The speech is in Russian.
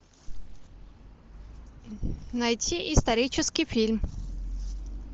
найти исторический фильм